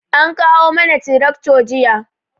An kawo mana tirakto jiya